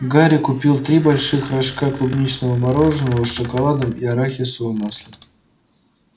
гарри купил три больших рожка клубничного мороженого с шоколадом и арахисовым маслом